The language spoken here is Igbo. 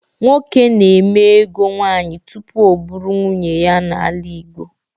Nwoke na-eme ego nwaanyị tupu ọ bụrụ nwunye ya n'ala Igbo.